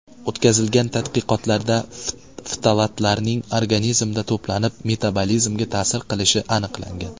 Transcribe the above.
O‘tkazilgan tadqiqotlarda, ftalatlarning organizmda to‘planib metabolizmga ta’sir qilishi aniqlangan.